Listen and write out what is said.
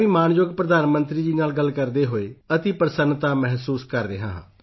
ਮੈਂ ਵੀ ਮਾਣਯੋਗ ਪ੍ਰਧਾਨ ਮੰਤਰੀ ਜੀ ਨਾਲ ਗੱਲ ਕਰਦੇ ਹੋਏ ਅਤਿ ਪ੍ਰਸੰਨਤਾ ਮਹਿਸੂਸ ਕਰ ਰਿਹਾ ਹਾਂ